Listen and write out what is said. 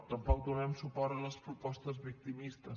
tampoc donarem suport a les propostes victimistes